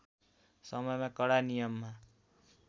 समयमा कडा नियममा